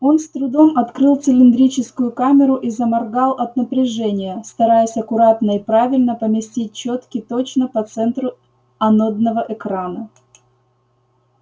он с трудом открыл цилиндрическую камеру и заморгал от напряжения стараясь аккуратно и правильно поместить чётки точно по центру анодного экрана